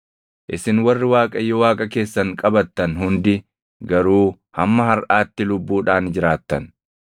isin warri Waaqayyo Waaqa keessan qabattan hundi garuu hamma harʼaatti lubbuudhaan jiraattan.